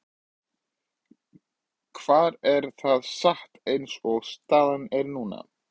Hvar er það statt eins og staðan er núna?